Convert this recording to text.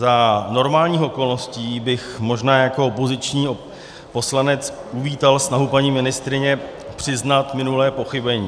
Za normálních okolností bych možná jako opoziční poslanec uvítal snahu paní ministryně přiznat minulé pochybení.